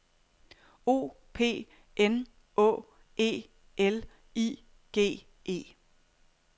O P N Å E L I G E